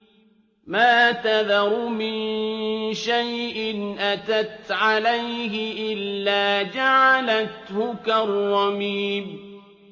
مَا تَذَرُ مِن شَيْءٍ أَتَتْ عَلَيْهِ إِلَّا جَعَلَتْهُ كَالرَّمِيمِ